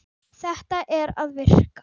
Þetta er að virka.